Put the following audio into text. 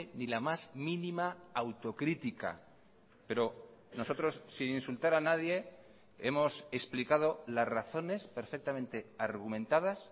ni la más mínima autocrítica pero nosotros sin insultar a nadie hemos explicado las razones perfectamente argumentadas